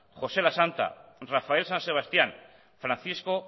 josé lasanta rafael san sebastián francisco